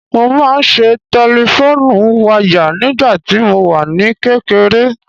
Mo máa ń ṣe tẹlifón wayà nígbàtí mo wà ní kékeré